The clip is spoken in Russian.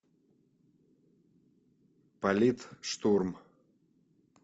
политштурм